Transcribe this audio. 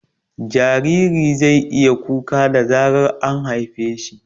Jariri zai iya kuka da zarar an haife shi